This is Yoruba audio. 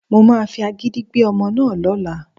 Mo máa fi agídí gbé ọmọ náà lọ́la